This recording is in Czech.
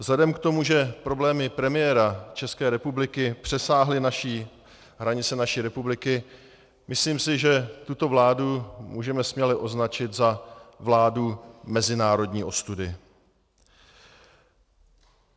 Vzhledem k tomu, že problémy premiéra České republiky přesáhly hranice naší republiky, myslím si, že tuto vládu můžeme směle označit za vládu mezinárodní ostudy.